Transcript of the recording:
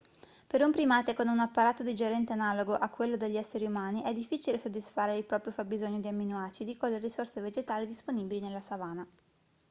per un primate con un apparato digerente analogo a quello degli esseri umani è difficile soddisfare il proprio fabbisogno di amminoacidi con le risorse vegetali disponibili nella savana